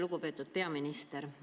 Lugupeetud peaminister!